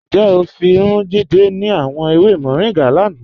Njẹ́ o fún Jídẹ̀ ni àwọn èwè Moringa lánà?